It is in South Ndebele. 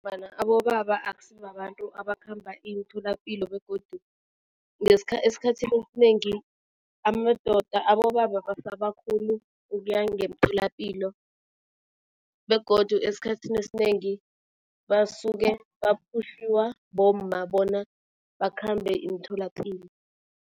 abobaba akusi babantu abakhamba imitholapilo begodu esikhathini esinengi amadoda, abobaba basaba khulu ukuya ngemitholapilo begodu esikhathini esinengi basuke baphutjhiwa bomma bona bakhambe imitholapilo.